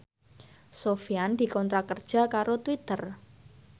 Sofyan dikontrak kerja karo Twitter